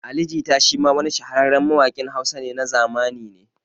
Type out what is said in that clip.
Ali Jita shi ma wa ni shahararren mawaƙin Hausa na zamani ne